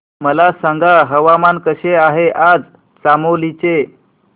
मला सांगा हवामान कसे आहे आज चामोली चे